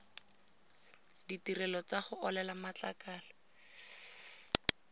ditirelo tsa go olela matlakala